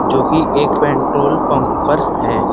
जो कि एक पेट्रोल पंप पर हैं।